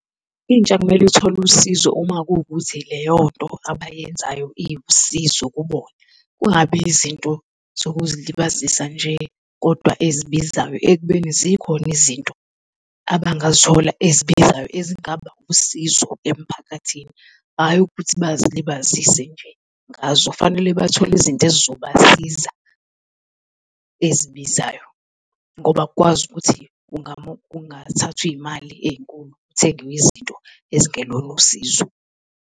Intsha kumele ithole usizo uma kuwukuthi leyonto abayenzayo iwusizo kubona, kungabi izinto zokuzilibazisa nje, kodwa ezibizayo ekubeni zikhona izinto abangazithola ezibizayo ezingaba usizo emphakathini, hhayi ukuthi bazilibazise nje ngazo. Kufanele bathole izinto ezizobasiza ezibizayo ngoba akukwazi ukuthi kungathathwa izimali ezinkulu kuthengwe izinto ezingelona usizo.